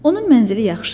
Onun mənzili yaxşı idi.